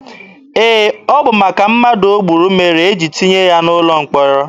Ee, ọ bụ maka mmadụ o gburu mere e jiri tụnye ya n'ụlọ mkpọrọ.